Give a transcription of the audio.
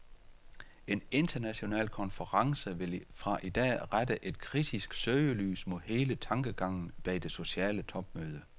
En international konference vil fra i dag rette et kritisk søgelys mod hele tankegangen bag det sociale topmøde.